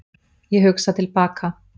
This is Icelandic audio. Ég hugsa til baka.